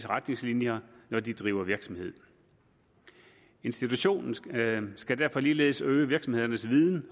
retningslinjer når de driver virksomhed institutionen skal skal derfor ligeledes øge virksomhedernes viden